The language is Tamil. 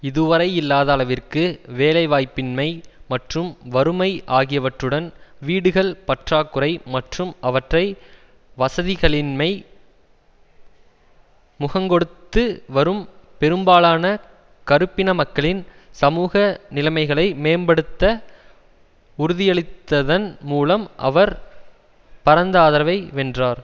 இதுவரை இல்லாத அளவிற்கு வேலைவாய்ப்பின்மை மற்றும் வறுமை ஆகியவற்றுடன் வீடுகள் பற்றாக்குறை மற்றும் அவற்றை வசதிகளின்மை முகங்கொடுத்து வரும் பெருப்பாலான கறுப்பின மக்களின் சமூக நிலைமைகளை மேம்படுத்த உறுதியளித்ததன் மூலம் அவர் பரந்த ஆதரவை வென்றார்